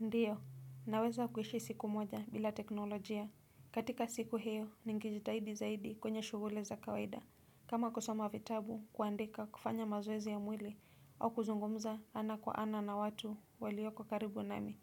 Ndiyo. Ninaweza kuishi siku moja bila teknolojia. Katika siku hiyo ningejitahidi zaidi katika shughuli za kawaida. Kama kusoma vitabu, kuandika, kufanya mazoezi ya mwili au kuzungumza ana kwa ana na watu walioko karibu nami.